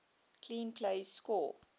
clean plays score